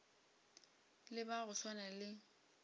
le ba go swana le